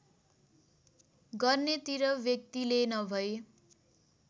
गर्नेतिर व्यक्तिले नभई